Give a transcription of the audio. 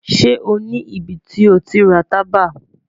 Ṣe o ni ibiti o ti ra taba?